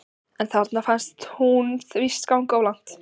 En þarna fannst þeim hún víst ganga of langt.